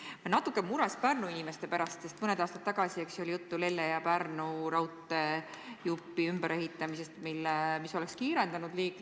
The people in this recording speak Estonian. Ma olen natuke mures Pärnu inimeste pärast, sest mõned aastad tagasi oli juttu Lelle ja Pärnu vahelise raudteejupi ümberehitamisest, mis oleks liiklust kiirendanud.